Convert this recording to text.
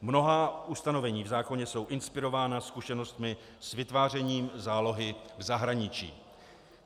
Mnohá ustanovení v zákoně jsou inspirována zkušenostmi s vytvářením zálohy v zahraničí.